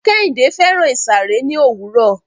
Kehinde fẹ́ràn ìsàré ní òwúrọ̀.